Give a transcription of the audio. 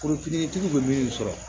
Forotigiw bɛ min sɔrɔ